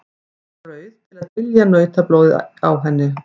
Hún er rauð til að dylja nautablóðið á henni.